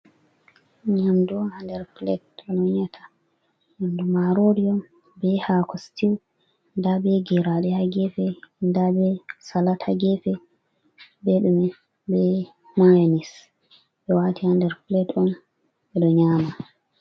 Nyamdu on ha nder pilet onyi ata nyamdu marori be hako stiw, nda be geraɗe ha gefe, nda be salat ha gefe, beɗume be mayones, ɓe wati hander pilet on ɓeɗo nyama.